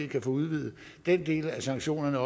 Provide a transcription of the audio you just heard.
kan få udvidet den del af sanktionerne